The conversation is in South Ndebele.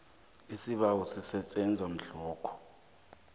isibawo sisetjenzwa mhlokho